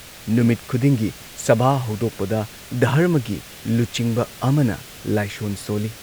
ꯅꯨꯃꯤꯠ ꯈꯨꯗꯤꯡꯒꯤ ꯁꯚꯥ ꯍꯧꯗꯣꯛꯄꯗ ꯙꯔꯃꯒꯤ ꯂꯨꯆꯤꯡꯕ ꯑꯃꯅ ꯂꯥꯏꯁꯣꯟ ꯁꯣꯜꯂꯤ ꯫